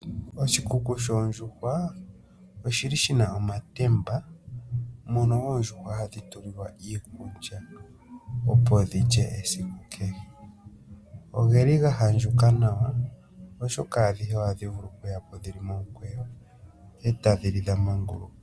Oshikuku shoondjuhwa oshili shina omatemba, mono oondjuhwa hadhi tulilwa iikulya, opo dhi lye esiku kehe. Ogeli ga handjuka nawa, oshoka adhishe ohadhi vulu oku yapo dhili momukweyo, e tadhi li dha manguluka.